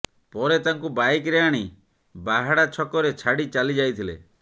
ପରେ ତାଙ୍କୁ ବାଇକରେ ଆଣି ବାହାଡ଼ା ଛକରେ ଛାଡ଼ି ଚାଲିଯାଇଥିଲେ